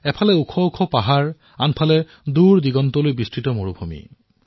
ইফালে সুউচ্চ পৰ্বত আৰু আনটো ফালে দুৰদুৰণিলৈ বিস্তৃত মৰুভূমি